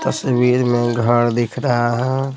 तस्वीर में घर दिख रहा है।